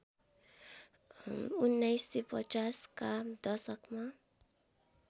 १९५० का दशकमा